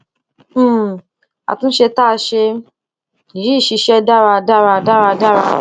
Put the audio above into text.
um àtúnṣe tá a ṣe yìí ṣiṣẹ dáradára dáradára